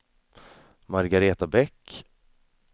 Margareta Bäck